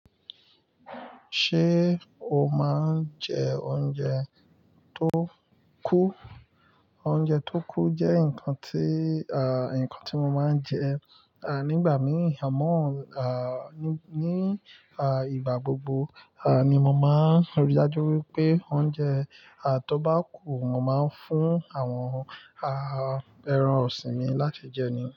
Ṣé o máa ń jẹ oúnjẹ tó kú? Oúnjẹ tó kú jẹ́ nǹkan tí, à, nǹkan tí mo máa ń jẹ, à, nígbà mí ì, à mó, à, ní, à, ìgbà gbogbo, à, ni mo máa ń rí dájú wípé oúnjẹ, à, tó bá kú, mo máa ń fún àwọn, a-a, ẹran ọ̀sìn mi láti jẹ ni.